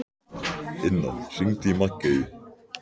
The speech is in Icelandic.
Inna, hringdu í Maggeyju.